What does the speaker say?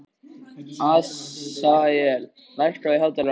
Asael, lækkaðu í hátalaranum.